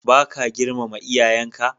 Baka girmama iyayenka?